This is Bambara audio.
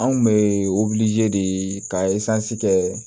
Anw bɛ de ka kɛ